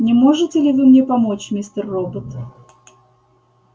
не можете ли вы мне помочь мистер робот